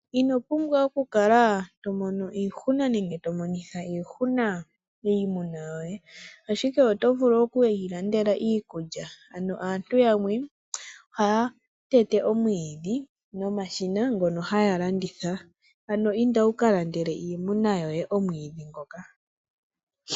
Ino pumbwa oku kala to mono iihuna nenge to monitha iihuna iimuna yoye. Ashike oto vulu oku yi landela iikulya ano aantu yamwe ohaya tete omwiidhi nomashina ngono haya landitha, ano inda wu ka landele iimuna yoye omwiidhi ngoka.